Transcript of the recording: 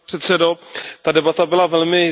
Ta debata byla velmi zajímavá.